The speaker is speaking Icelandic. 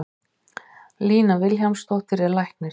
Lína Vilhjálmsdóttir er læknir.